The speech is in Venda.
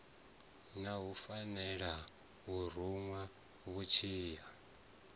na fulela o ruṅwa mutshila